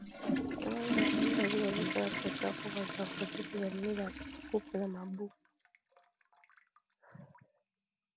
Namoni Bato mibali , bazosala photo po Bazwa foto, mpe bamemi ba koupe na maboko.